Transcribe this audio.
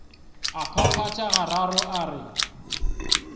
a phaphatha gararo a re